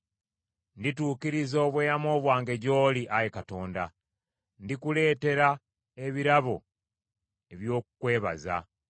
Ndituukiriza obweyamo bwange gy’oli, Ayi Katonda; ndikuleetera ebirabo eby’okukwebaza.